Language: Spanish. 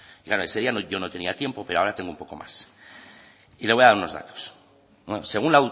y claro ese día yo no tenía tiempo pero ahora tengo un poco más y le voy a dar unos datos según